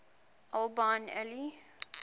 al bin ali